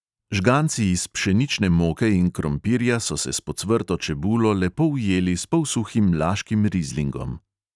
Žganci iz pšenične moke in krompirja so se s pocvrto čebulo lepo ujeli s polsuhim laškim rizlingom.